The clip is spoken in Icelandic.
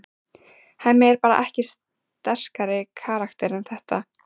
Hemmi er bara ekki sterkari karakter en þetta.